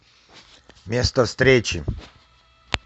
место встречи